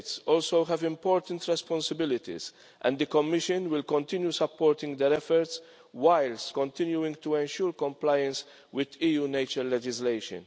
States also have important responsibilities and the Commission will continue supporting their efforts whilst continuing to ensure compliance with EU nature legislation.